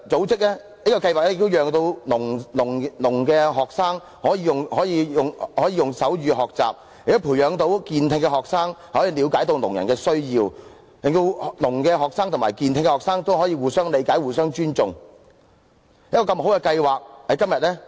這項計劃亦讓失聰學生可以用手語學習，亦培養健聽學生了解聾人的需要，令失聰學生及健聽學生可以互相理解、互相尊重。